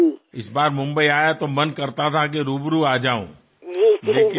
ఇటీవల ముంబై వచ్చినప్పుడు మిమ్మల్ని ముఖాముఖి కలవాలని చాలా అనుకున్నాను